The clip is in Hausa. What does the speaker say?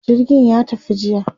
jirgin ya tafi jiya